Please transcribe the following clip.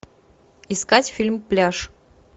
искать фильм пляж